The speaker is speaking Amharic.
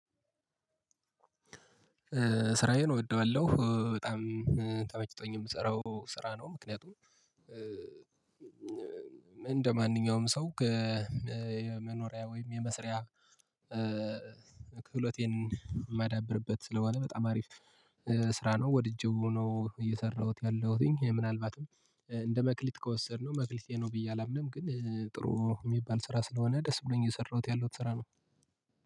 ስራዬን እወደዋለሁ በጣም ተመችቶኝ የምሰራው ስራ ነው ምክንያቱም እንደማንኛውም ሰው ከመኖሪያ ወይም የመስሪያ ክህሎቴን የማዳብርበት ስለሆነ በጣም አሪፍ ስራ ነው። ወድጄው ነው እየሰራሁት ያለሁትኝ ምናልባትም እንደ መክሊት ከወሰድነው መክሊቴ ነው ብዬ አላምንም። ግን ጥሩ የሚባል ስራ ስለሆነ ደስ ብሎኝ እየሰራሁት ያለሁት ስራ ነው።